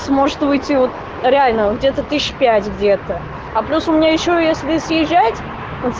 сможет выйти вот реально где-то тысяч пять где-то а просто у меня ещё если съезжать